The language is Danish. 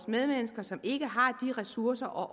medmennesker som ikke har de ressourcer og